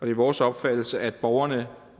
er vores opfattelse at borgerne